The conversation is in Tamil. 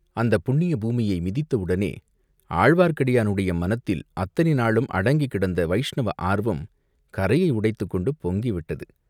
அந்தப் புண்ணிய பூமியை மிதித்த உடனே ஆழ்வார்க்கடியானுடைய மனத்தில் அத்தனை நாளும் அடங்கிக் கிடந்த வைஷ்ணவ ஆர்வம் கரையை உடைத்துக்கொண்டு பொங்கி விட்டது.